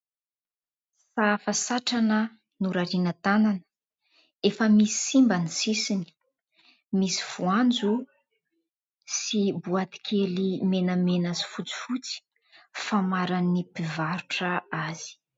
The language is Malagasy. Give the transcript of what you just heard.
Sahafa satrana norariana tanana, efa misy simba ny sisiny. Misy voanjo sy boaty kely menamena sy fotsifotsy famaran'ny mpivarotra azy.